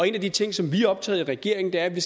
en af de ting som vi er optaget af i regeringen er at vi